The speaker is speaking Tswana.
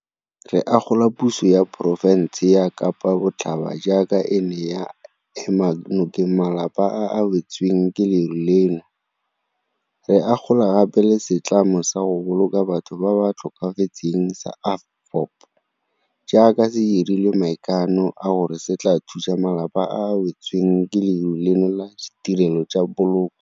Re akgola puso ya porofense ya Kapa Botlhaba jaaka e ne ya ema nokeng malapa a a wetsweng ke leru leno, re akgola gape le setlamo sa go boloka batho ba ba tlhokafetseng sa AVBOB jaaka se dirile maikano a gore se tla thusa malapa a a wetsweng ke leru leno ka ditirelo tsa poloko.